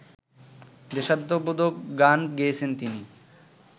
দেশাত্মবোধক গান গেয়েছেন তিনি